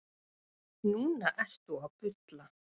Núna ertu að bulla.